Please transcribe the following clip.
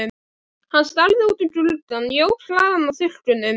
Hann starði út um gluggann, jók hraðann á þurrkunum.